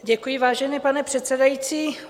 Děkuji, vážený pane předsedající.